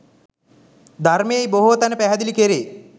ධර්මයෙහි බොහෝ තැන පැහැදිලි කෙරේ.